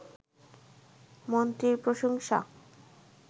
মন্ত্রীর প্রশংসা